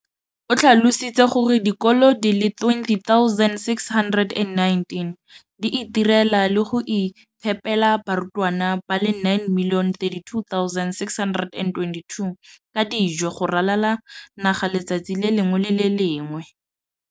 o tlhalositse gore dikolo di le 20 619 di itirela le go iphepela barutwana ba le 9 032 622 ka dijo go ralala naga letsatsi le lengwe le le lengwe.